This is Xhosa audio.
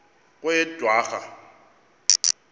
kweyedwarha